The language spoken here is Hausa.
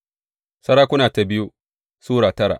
biyu Sarakuna Sura tara